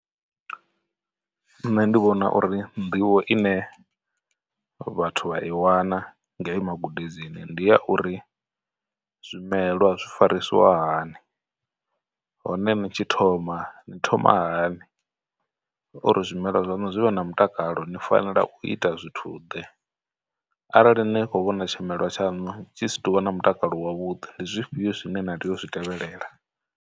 Nṋe ndi vhona uri nḓivho ine vhathu vha i wana ngei magudedzini ndi ya uri, zwimelwa zwi farisiwa hani, hone ni tshi thoma ni thoma hani, uri zwimelwa zwaṋu zwi vhe na mutakalo ni fanela u ita zwithu ḓe, arali ni khou vhona tshimelwa tshaṋu tshi si tuvha na mutakalo wa vhuḓi ndi zwifhio zwine na tea u zwi tevhelela.